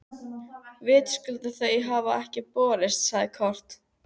Vitaskuld hafa þau ekki borist, sagði Kort.